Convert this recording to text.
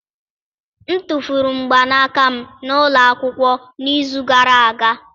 M tụfuru mgbanaka m na ụlọ akwụkwọ n'izu gara aga